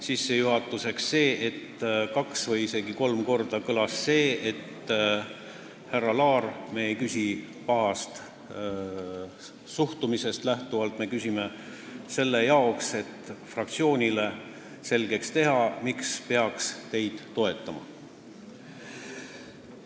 Sissejuhatuseks kõlas kaks või isegi kolm korda, et härra Laar, me ei küsi pahast suhtumisest lähtuvalt, me küsime selleks, et fraktsioonile selgeks teha, miks peaks teid toetama.